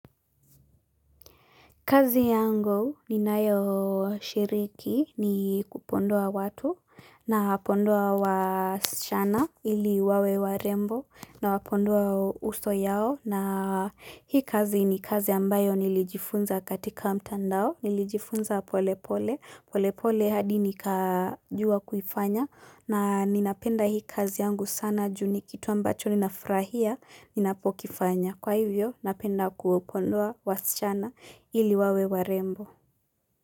Kazi yangu ni nayo shiriki ni kupodoa watu na podoa wasichana ili wawe warembo nawa podoa uso yao na hii kazi ni kazi ambayo nilijifunza katika mtandao nilijifunza pole pole, pole pole hadi nikajua kufanya na ninapenda hii kazi yangu sana juu ni kitu ambacho ninafurahia ninapokifanya. Kwa hivyo, napenda kuwapodoa wasichana ili wawe warembo.